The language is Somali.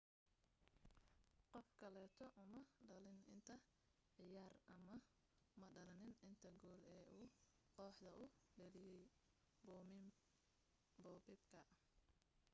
qof kaleeto uma dheelin inta cayaar ama madhalinin inta gool ee uu kooxda u dhaliye bobek